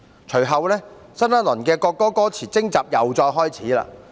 隨後，新一輪國歌歌詞徵集又再開始。